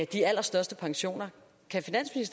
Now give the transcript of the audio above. de allerstørste pensioner kan